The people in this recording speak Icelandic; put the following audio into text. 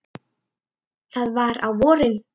Það var á vorin.